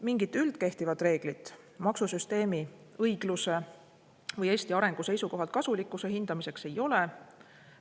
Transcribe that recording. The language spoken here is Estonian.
Mingit üldkehtivat reeglit maksusüsteemi õigluse või Eesti arengu seisukohalt kasulikkuse hindamiseks ei ole.